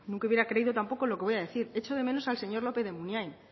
nunca hubiera creído tampoco lo que voy a decir echo de menos al señor lópez de munain